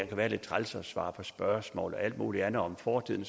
kan være lidt træls at svare på spørgsmål og alt muligt andet om fortiden